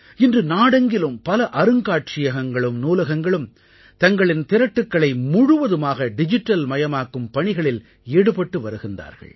இன்று நாடெங்கிலும் பல அருங்காட்சியகங்களும் நூலகங்களும் தங்களின் திரட்டுக்களை முழுவதுமாக டிஜிட்டல்மயமாக்கும் பணிகளில் ஈடுபட்டு வருகின்றார்கள்